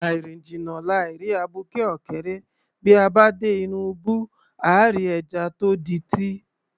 Àì rìn jìnnà, làì rí abuké ọ̀kẹ́rẹ́, bí a bá dé inú ibú, àá rí ẹja tó di’tí